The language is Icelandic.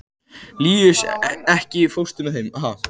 Líus, ekki fórstu með þeim?